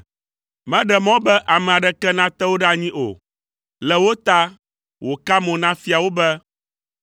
Meɖe mɔ be ame aɖeke nate wo ɖe anyi o, le wo ta, wòka mo na fiawo be,